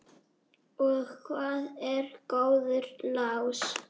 Og hvað er góður lás?